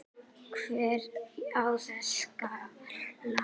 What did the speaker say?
Hver á þessa skál?